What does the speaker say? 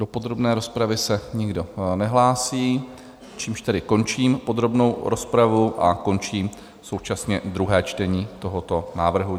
Do podrobné rozpravy se nikdo nehlásí, čímž tedy končím podrobnou rozpravu a končím současně druhé čtení tohoto návrhu.